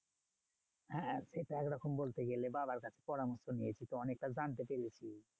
হ্যাঁ হ্যাঁ সেটা একরকম বলতে গেলে বাবার কাছে পরামর্শ নিয়েছি তো অনেকটা জানতে পেরেছি।